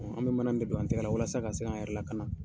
An bɛ mana min don an tɛgɛ la walasa ka se k'an yɛrɛ lakana